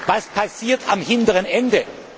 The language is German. Was passiert am